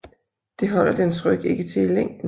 Det holder dens ryg ikke til i længden